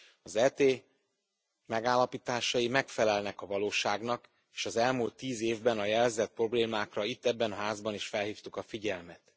Az ET megállapításai megfelelnek a valóságnak, és az elmúlt 10 évben a jelzett problémákra itt ebben a házban is felhívtuk a figyelmet.